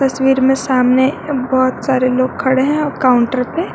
तस्वीर में सामने बहोत सारे लोग खड़े हैं और काउंटर पे--